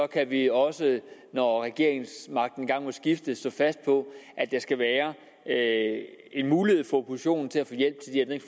kan vi også når regeringsmagten engang må skifte stå fast på at der skal være en mulighed for oppositionen